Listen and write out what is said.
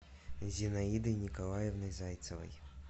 зинаидой николаевной зайцевой